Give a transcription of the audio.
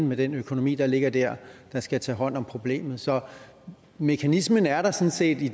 med den økonomi der ligger der der skal tage hånd om problemet så mekanismen er der sådan set i